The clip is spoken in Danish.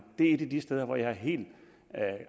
det er et af de steder hvor jeg er helt